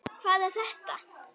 Hvað er þetta!